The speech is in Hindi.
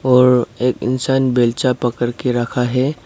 और एक इंसान बेलचा पकड़ के रखा है।